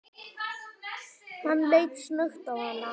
Hann leit snöggt á hana.